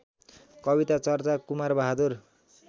कविता चर्चा कुमारबहादुर